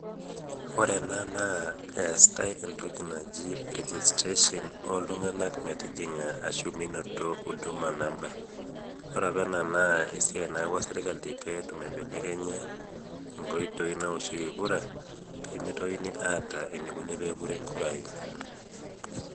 Ore ena naa, eetai entoki naji registration oltung'anak metijing'a ashu minoto Huduma Number. Ore apa ena naa esiai naawua serkali peetum aibelekenya inkoitoii naoshieki kura, pimitokini aata enikoni pepuri nkurai.